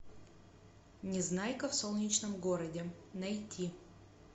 незнайка в солнечном городе найти